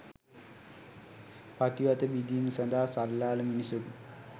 පතිවත බිඳීම සඳහා සල්ලාල මිනිසකු